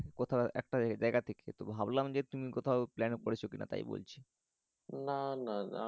কোথাও একটা জায়গা থেকে তো ভাবলাম যে তুমি কোথাও plan করেছো কিনা তাই বলছি